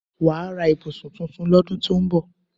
Wàá ra ibùsùn tuntun lọ́dún tó ń bọ̀